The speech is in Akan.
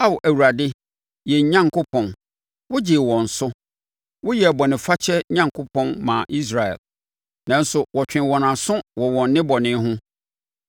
Ao Awurade, yɛn Onyankopɔn, wogyee wɔn so; woyɛɛ bɔnefakyɛ Onyankopɔn maa Israel, nanso wɔtwee wɔn aso wɔ wɔn nnebɔne ho.